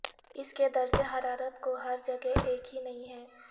اس کے درجہ حرارت کو ہر جگہ ایک ہی نہیں ہے